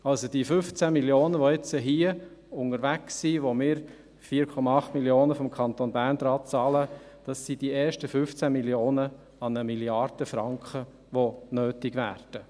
Also, die 15 Mio. Franken, welche hier unterwegs sind, an welche wir vonseiten des Kantons Bern 4,8 Mio. Franken bezahlen, sind die ersten 15 Mio. Franken an 1 Mrd. Franken, welche nötig sein werden.